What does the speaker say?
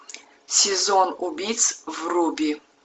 сезон убийц вруби